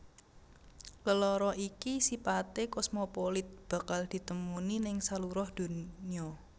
Lelara ini sipaté kosmopolit bakal ditemuni ning saluruh donya